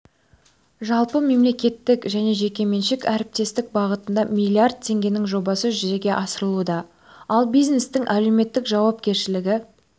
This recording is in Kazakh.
жалпы мемлекеттік және жекеменшік әріптестік бағытында миллиард теңгенің жобасы жүзеге асырылуда ал бизнестің әлеуметтік жауапкершілігі